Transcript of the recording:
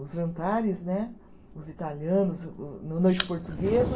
Os jantares né, os italianos o, no noite portuguesa.